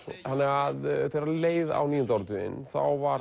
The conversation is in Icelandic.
þegar leið á níunda áratuginn þá var